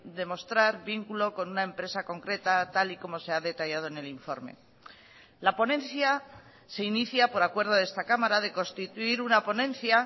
demostrar vínculo con una empresa concreta tal y como se ha detallado en el informe la ponencia se inicia por acuerdo de esta cámara de constituir una ponencia